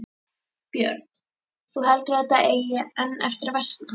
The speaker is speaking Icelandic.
Björn: Þú heldur að þetta eigi enn eftir að versna?